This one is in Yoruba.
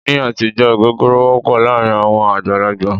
Ní àtijọ́ ògógóró wọ́pọ̀ láàárín àwọn àgbàlagbà.